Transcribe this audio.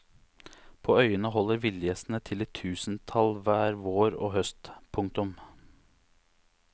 På øyene holder villgjessene til i tusentall hver vår og høst. punktum